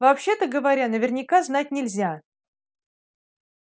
вообще-то говоря наверняка знать нельзя